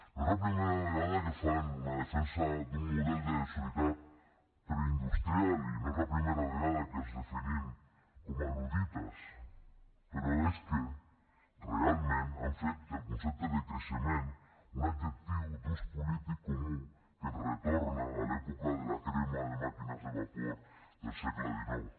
no és la primera vegada que fan una defensa d’un model de societat preindustrial i no és la primera vegada que els definim com a luddites però és que realment han fet del concepte de creixement un adjectiu d’ús polític comú que ens retorna a l’època de la crema de màquines de vapor del segle xix